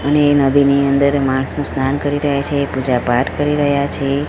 અને નદીની અંદર માણસો સ્નાન કરી રહ્યા છે એ પૂજા પાઠ કરી રહ્યા છે.